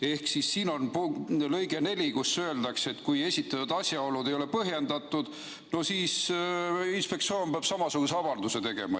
lõikes 4 öeldakse, et kui esitatud asjaolud ei ole põhjendatud, peab inspektsioon samasuguse avalduse tegema.